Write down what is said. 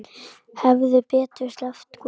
Hefði betur sleppt kúnni.